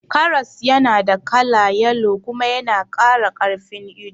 Karas yana da kala yalo kuma yana kara karfin ido